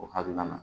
O hakilina na